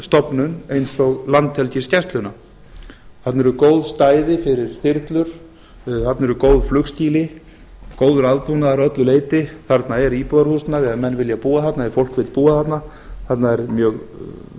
stofnun eins og landhelgisgæsluna þarna eru góð stæði fyrir þyrlur þarna eru góð flugskýli góður aðbúnaður að öllu leyti þarna er íbúðarhúsnæði ef menn vilja búa þarna ef fólk vill búa þarna þarna er mjög